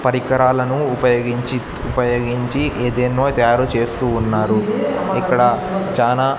పరికరాలను ఉపయోగించి ఉపయోగించి ఏదేన్నో తయారు చేస్తూ ఉన్నారు ఇక్కడ చానా.